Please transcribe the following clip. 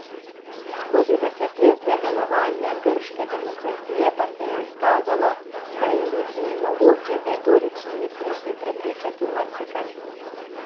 Skozi desetletja delovanja grške demokracije pa se je izkazalo, da je ljudi mogoče z retoričnimi triki prepričati v marsikaj.